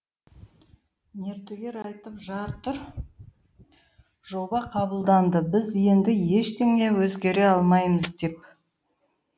мердігер айтып жатыр жоба қабылданды біз енді ештеңе өзгере алмаймыз деп